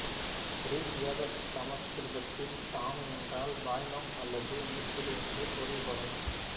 இரிக் வேத சமக்கிருதத்தில் தாணு என்றால் பாய்மம் அல்லது நீர்த்துளி என்று பொருள்படும்